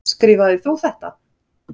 Skrifaðir þú þetta?